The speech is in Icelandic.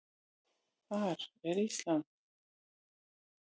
Þar er Ísland.